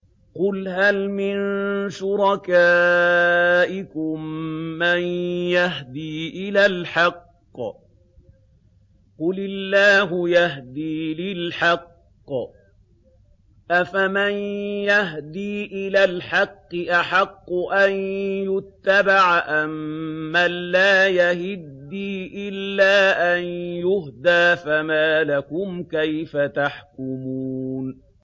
قُلْ هَلْ مِن شُرَكَائِكُم مَّن يَهْدِي إِلَى الْحَقِّ ۚ قُلِ اللَّهُ يَهْدِي لِلْحَقِّ ۗ أَفَمَن يَهْدِي إِلَى الْحَقِّ أَحَقُّ أَن يُتَّبَعَ أَمَّن لَّا يَهِدِّي إِلَّا أَن يُهْدَىٰ ۖ فَمَا لَكُمْ كَيْفَ تَحْكُمُونَ